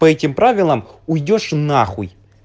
по этим правилам уйдёшь нахуй